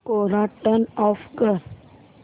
कोरा turn off कर